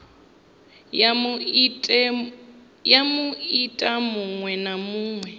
ya muiti muṅwe na muṅwe